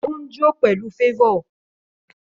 Ó ń jó pẹ̀lú favour